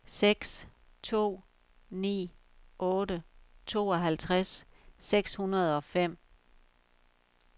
seks to ni otte tooghalvtreds seks hundrede og fem